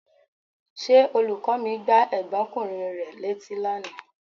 Ṣé olùkọ́ mi gbá ẹ̀gbọ́nkùnrin rẹ létí lánàá?